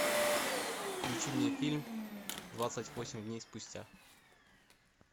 включи мне фильм двадцать восемь дней спустя